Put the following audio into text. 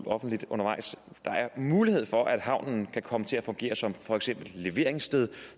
offentligt undervejs mulighed for at havnen kan komme til at fungere som for eksempel leveringssted